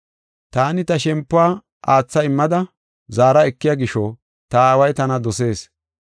“Taani ta shempuwa aatha immada zaara ekiya gisho ta Aaway tana dosees.